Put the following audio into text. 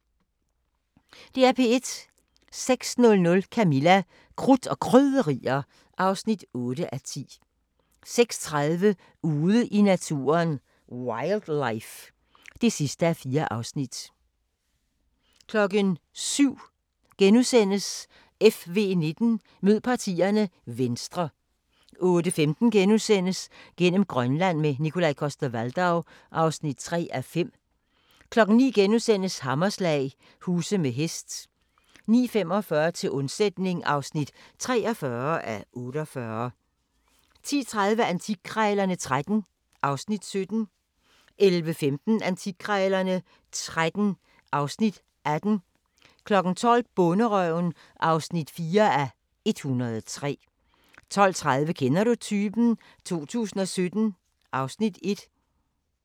06:00: Camilla – Krudt og Krydderier (8:10) 06:30: Ude i naturen: Wildlife (4:4) 07:00: FV19: Mød partierne – Venstre * 08:15: Gennem Grønland – med Nikolaj Coster-Waldau (3:5)* 09:00: Hammerslag – huse med hest * 09:45: Til undsætning (43:48) 10:30: Antikkrejlerne XIII (Afs. 17) 11:15: Antikkrejlerne XIII (Afs. 18) 12:00: Bonderøven (4:103) 12:30: Kender du typen? 2017 (Afs. 1)